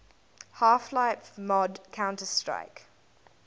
half life mod counter strike